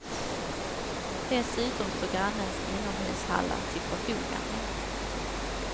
Dessutom står grannens inomhushallar till förfogande.